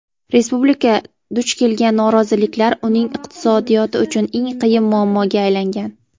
Respublika duch kelgan noroziliklar uning iqtisodiyoti uchun "eng qiyin" muammoga aylangan.